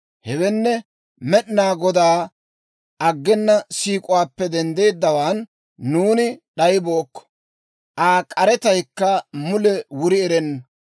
Hewenne, Med'inaa Godaa aggena siik'uwaappe denddeeddawaan nuuni d'ayibookko. Aa k'aretaykka mule wuri erenna;